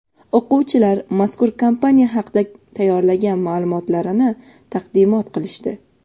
o‘quvchilar mazkur kompaniya haqida tayyorlagan ma’lumotlarini taqdimot qilishdi.